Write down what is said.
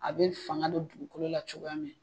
A bɛ fanga don dugukolo la cogoya min